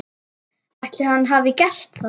Ætli hann hafi gert það?